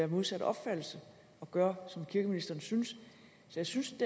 modsatte opfattelse og gøre som kirkeministeren synes jeg synes